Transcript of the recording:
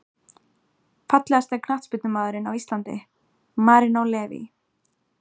Fallegasti knattspyrnumaðurinn á Íslandi: Marinó Leví